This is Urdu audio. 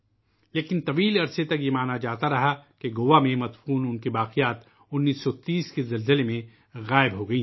لیکن، ایک طویل مدت کے لئے یہ سمجھا گیا کہ گوا میں دفن ان کے باقیات 1930 کے زلزلے میں کہیں گم ہوگئے